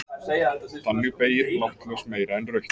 Þannig beygir blátt ljós meira en rautt.